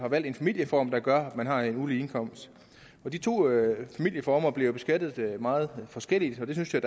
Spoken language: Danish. valgt en familieform der gør at man har en ulige indkomst de to familieformer bliver jo beskattet meget forskelligt og det synes jeg